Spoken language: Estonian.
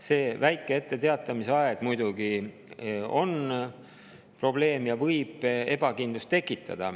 See väike etteteatamise aeg on muidugi probleem ja võib tekitada ebakindlust.